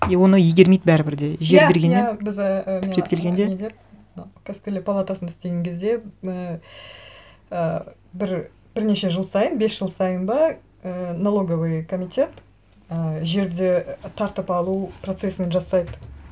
и оны игермейді бәрібір де жер бергенімен иә иә біз і түптеп келгенде палатасында істеген кезде і ы бірнеше жыл сайын бес жыл сайын ба ііі налоговый комитет і жерді тартып алу процесін жасайды